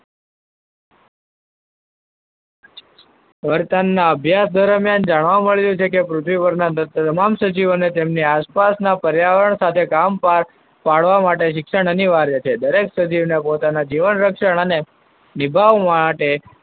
ના અભ્યાસ દરમિયાન જાણવા મળ્યું છે, કે પૃથ્વી પરના તમામ સજીવોને આસપાસના પર્યાવરણ સાથે કામકાજ પાડવા માટે શિક્ષણ અનિવાર્ય છે. દરેક સજીવને પોતાને જીવન રક્ષા અને નિભાવવા માટે,